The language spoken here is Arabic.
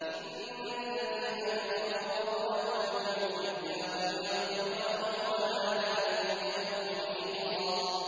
إِنَّ الَّذِينَ كَفَرُوا وَظَلَمُوا لَمْ يَكُنِ اللَّهُ لِيَغْفِرَ لَهُمْ وَلَا لِيَهْدِيَهُمْ طَرِيقًا